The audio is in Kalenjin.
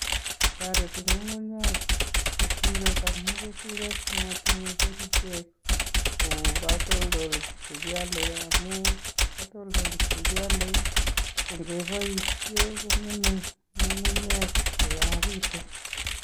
Toreti ng'ung'unyek keturek amuu keturek matinye kerichek kou katoldolik che kiale amu katoldolik che kiale ko ngeboisie kong'eme ng'ung'unyek koyaagitu